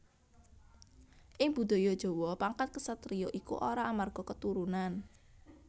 Ing Budaya Jawa pangkat ksatriya iku ora amarga keturunan